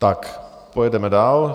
Tak pojedeme dál.